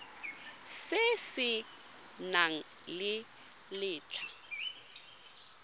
se se nang le letlha